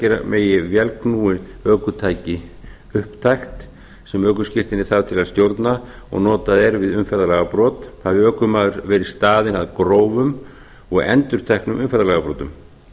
að gera megi vélknúið ökutæki upptækt sem ökuskírteini þarf til að stjórna og notað er við umferðarlagabrot hafi ökumaður verið staðinn að grófum og endurteknum umferðarlagabrotum